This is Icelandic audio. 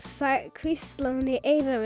hvíslaði í eyrað